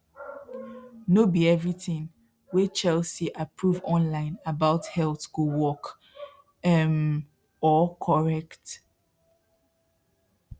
no be everything wey chelsey approve online about health go work um or correct